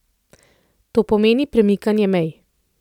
To pomeni premikanje mej!